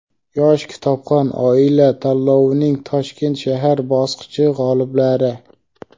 "Yosh kitobxon oila" tanlovining Toshkent shahar bosqichi g‘oliblari:.